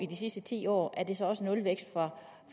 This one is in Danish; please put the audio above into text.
de sidste ti år er det så også nulvækst fra